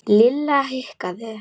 Lilla hikaði.